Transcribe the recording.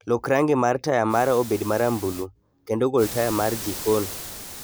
Lok rangi mar taya mara obed marambulu, kendo gol taya mar jikon.